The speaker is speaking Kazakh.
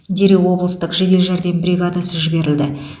дереу облыстық жедел жәрдем бригадасы жіберілді